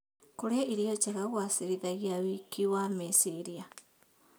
Kũrĩa irio njega kũgacĩrithagia wĩki wa meciria.